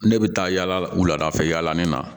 Ne bɛ taa yala wuladafɛla nin na